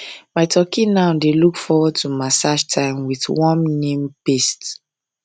my turkey now dey look forward to massage time with warm neem paste